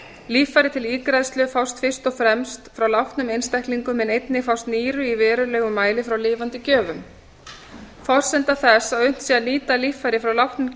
líffæri til ígræðslu fást fyrst og fremst frá látnum einstaklingum en einnig fást nýru í verulegum mæli frá lifandi gjöfum forsenda þess að unnt sé að nýta líffæri frá látnum